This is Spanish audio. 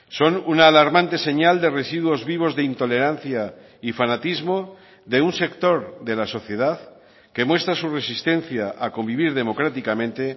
son una alarmante señal de residuos vivos de intolerancia y fanatismo de un sector de la sociedad que muestra su resistencia a convivir democráticamente